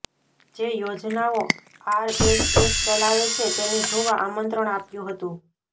જે યોજનાઓ આરએસએસ ચલાવે છે તેને જોવા આમંત્રણ આપ્યું હતું